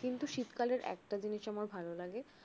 কিন্তু শীতকালের একটা জিনিস আমার খুব ভাল লাগে